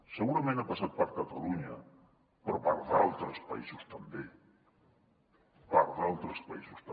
segurament ha passat per catalunya però per altres països també per altres països també